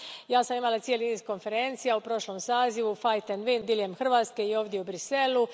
Ja sam imala cijeli niz konferencija u prošlom sazivu, fight and win diljem Hrvatske i ovdje u Bruxellesu.